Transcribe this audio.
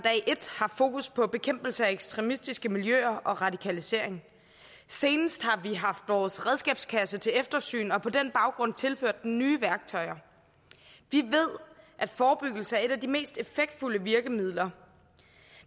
et haft fokus på bekæmpelse af ekstremistiske miljøer og radikalisering senest har vi haft vores redskabskasse til eftersyn og på den baggrund tilført den nye værktøjer vi ved at forebyggelse er et af de mest effektfulde virkemidler